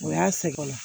O y'a sɛgɛnna